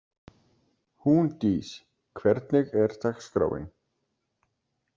Húndís, hvernig er dagskráin?